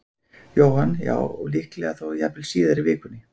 Jóhann: Já, og líklega þá jafnvel síðar í vikunni?